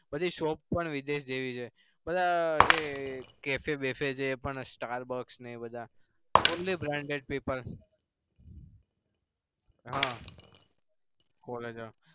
પછી shop પણ વિદેશ જેવી છે. બધા cafe બેફે છે. star box ન એ બધા